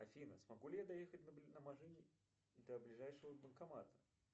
афина смогу ли я доехать на машине до ближайшего банкомата